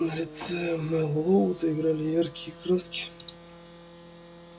на лице мэллоу заиграли яркие краски